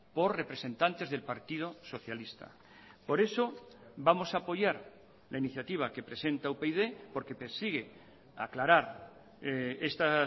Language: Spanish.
por representantes del partido socialista por eso vamos a apoyar la iniciativa que presenta upyd porque persigue aclarar esta